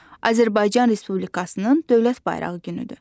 Azərbaycan Respublikasının Dövlət bayrağı günüdür.